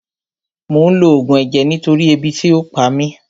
Mò ń lo Ògùn ẹ̀jẹ̀ nítorí ebi tí ò pa mí